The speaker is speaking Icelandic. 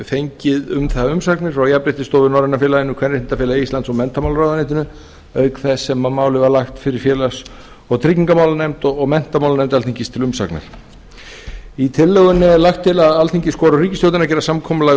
fengið um það umsagnir frá jafnréttisstofu norræna félaginu kvenréttindafélagi íslands og menntamálaráðuneytinu auk þess sem málið var lagt fyrir félags og tryggingamálanefnd og menntamálanefnd alþingis til umsagnar með tillögunni er lagt til að alþingi skori á ríkisstjórnina að gera samkomulag